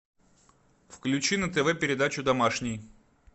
включи на тв передачу домашний